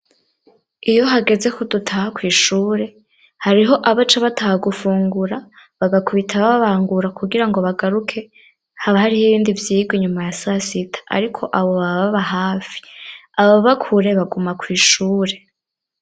Iyo hageze ko dutaha ku ishure hariho abace bataha gufungura bagakubita babangura kugira ngo bagaruke haba hariho ibindi vyigwa nyuma ya sasita ariko abo bababa hafi aba bakure baguma kw'ishure.